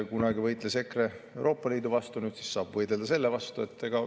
Kunagi võitles EKRE Euroopa Liidu vastu, nüüd siis saab võidelda selle vastu.